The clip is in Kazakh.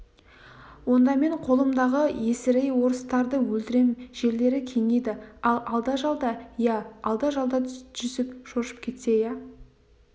онда мен қолымдағы есірей орыстарды өлтірем жерлері кеңиді ал алда-жалда иә алда-жалда жүсіп шошып кетті иә